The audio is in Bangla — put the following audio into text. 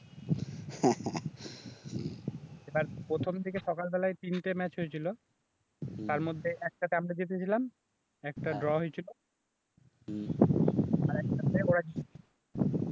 এবার প্রথম থেকে সকালবেলায় তিনটে ম্যাচ হয়েছিল, তার মধ্যে একটা তে আমরা জিতে ছিলাম একটা ড্র হয়েছিল